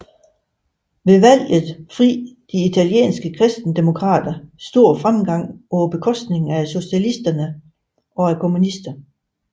Ved valget fri de italienske kristendemokrater stor fremgang på bekostning af socialisterne og kommunisterne